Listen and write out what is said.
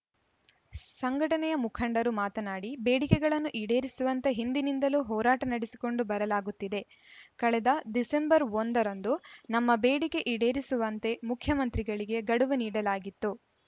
ಸಂಘಟನೆ ಮುಖಂಡರು ಮಾತನಾಡಿ ಬೇಡಿಕೆಗಳನ್ನು ಈಡೇರಿಸುವಂತೆ ಹಿಂದಿನಿಂದಲೂ ಹೋರಾಟ ನಡೆಸಿಕೊಂಡು ಬರಲಾಗುತ್ತಿದೆ ಕಳೆದ ಡಿಸೆಂಬರ್ ಒಂದ ರಂದು ನಮ್ಮ ಬೇಡಿಕೆ ಈಡೇರಿಸುವಂತೆ ಮುಖ್ಯಮಂತ್ರಿಗಳಿಗೆ ಗಡುವು ನೀಡಲಾಗಿತ್ತು